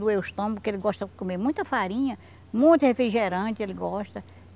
Doeu o estômago, porque ele gosta de comer muita farinha, muito refrigerante, ele gosta.